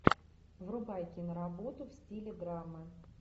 врубай киноработу в стиле драмы